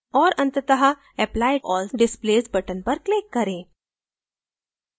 और अतंत: apply all displays button पर click करें